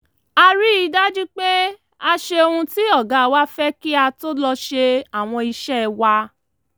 a rí i dájú pé a ṣe ohun tí ọ̀gá wa fẹ́ kí a tó lọ ṣe àwọn iṣẹ́ wa